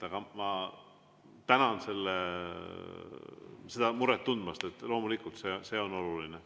Aga ma tänan seda muret tundmast, loomulikult see on oluline.